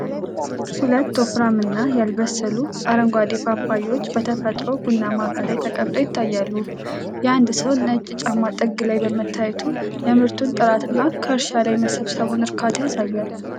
ሁለት ወፍራምና ያልበሰሉ አረንጓዴ ፓፓያዎች በተፈጥሮ ቡናማ አፈር ላይ ተቀምጠው ይታያሉ። የአንድ ሰው ነጭ ጫማ ጥግ ላይ በመታየቱ የምርቱን ጥራት እና ከእርሻ ላይ የመሰብሰብን እርካታ ያሳያል።